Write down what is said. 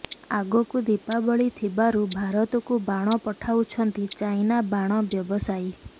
ଆଗକୁ ଦୀପାବଳି ଥିବାରୁ ଭାରତକୁ ବାଣ ପଠାଉଛନ୍ତି ଚାଇନା ବାଣ ବ୍ୟବସାୟୀ